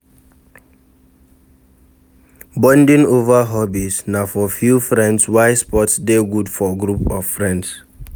Bonding over hobbies na for few friends while sports de good for group of friends